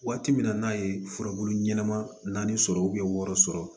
Waati min na n'a ye furabulu ɲɛnɛma naani sɔrɔ wɔɔrɔ sɔrɔ